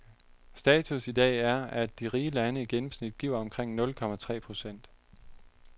Status i dag er, at de rige lande i gennemsnit giver omkring nul komma tre procent.